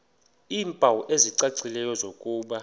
iimpawu ezicacileyo zokuba